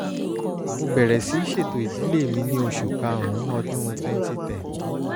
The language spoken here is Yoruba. mo bẹ̀rẹ̀ sí ṣètò ìdílé mi ní oṣù karùn-ún ọdún twenty ten